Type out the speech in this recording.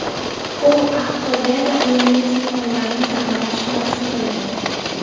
U Aqto‘beda uyali aloqa telefonlarini ta’mirlash bilan shug‘ullangan.